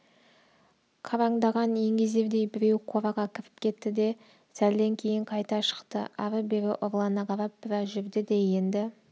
қараңдаған еңгезердей біреу қораға кіріп кетті де сәлден кейін қайта шықты ары-бері ұрлана қарап біраз жүрді де енді